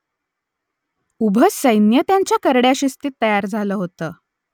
उभं सैन्य त्यांच्या करड्या शिस्तीत तयार झालं होतं